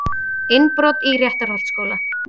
Innbrot í Réttarholtsskóla